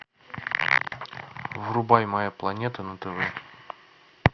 врубай моя планета на тв